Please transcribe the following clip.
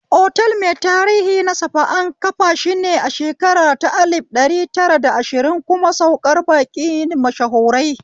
Otal mai tarihi na safa, an kafashi ne a shekara ta lif ɗari tara da ashiri kuma saukar baƙi mashahurai